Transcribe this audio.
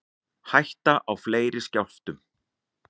Hætta á fleiri skjálftum